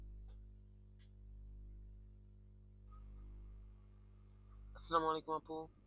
আসসালাম ওয়ালাইকুম আপু।